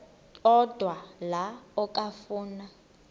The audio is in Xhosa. odwa la okafuna